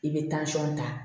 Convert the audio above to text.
I bɛ ta